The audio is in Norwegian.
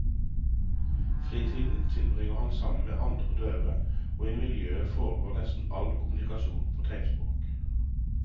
Fritiden tilbringer han sammen med andre døve, og i miljøet foregår nesten all kommunikasjon på tegnspråk.